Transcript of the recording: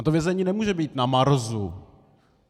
A to vězení nemůže být na Marsu.